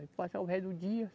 Aí passava o resto do dia.